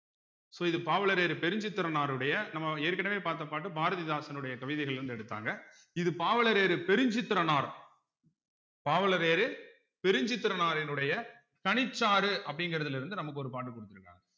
so இது பாவலரேறு பெருஞ்சித்திரனாருடைய நம்ம ஏற்கனவே பார்த்த பாட்டு பாரதிதாசனுடைய கவிதைகள்ல இருந்து எடுத்தாங்க இது பாவலரேறு பெருஞ்சித்திரனார் பாவலரேறு பெருஞ்சித்திரனாரினுடைய கனிச்சாறு அப்படிங்கிறதுல இருந்து நமக்கு ஒரு பாட்டு கொடுத்திருக்காங்க